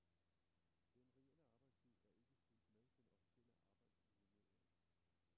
Den reelle arbejdstid er ikke fulgt med den officielle arbejdsuge nedad.